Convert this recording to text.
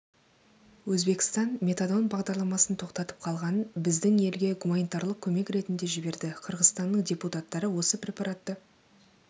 өзбекстан метадон бағдарламасын тоқтатып қалғанын біздің елге гуманитарлық көмек ретінде жіберді қырғызстанның депутаттары осы препаратты